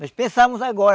Nós pensamos agora